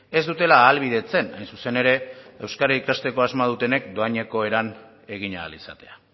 ez dutela ahalbidetzen hain zuzen ere euskara ikasteko asmoa dutenek dohaineko eran egin ahal izatea